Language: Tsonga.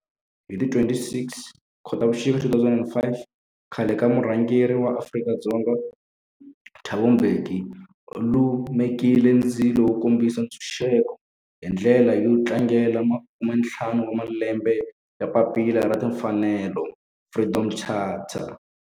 Hi ti 26 Khotavuxika 2005 khale ka murhangeri wa Afrika-Dzonga Thabo Mbeki u lumekile ndzilo wo kombisa ntshuxeko, hi ndlela yo tlangela makume-ntlhanu wa malembe ya papila ra timfanelo, Freedom Charter.